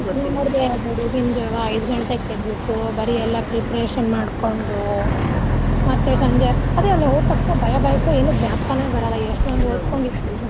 ನೋಡ್ದೆ ಬೆಳಗಿನ ಜಾವಾ ಐದು ಗಂಟೆಕ್ ಎದ್ದ್ ಬಿಟ್ಟು ಬರಿ ಎಲ್ಲಾ preparation ಮಾಡ್ಕೊಂಡು ಮತ್ತೆ ಸಂಜೆ ಅದೆ ಅಲ್ಲ ಹೋದ್ ತಕ್ಷಣಾ ಭಯಾ ಭಯಕ್ಕ ಏನು ಜ್ಞಾಪ್ಕಾನೆ ಬರಲ್ಲ ಎಷ್ಟೊಂದು ಓದ್ಕೊಂಡಿದ್ವಿ.